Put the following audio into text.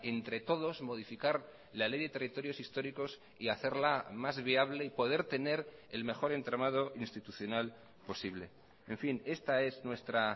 entre todos modificar la ley de territorios históricos y hacerla más viable y poder tener el mejor entramado institucional posible en fin esta es nuestra